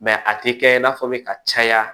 Mɛ a tɛ kɛ i n'a fɔ bɛ ka caya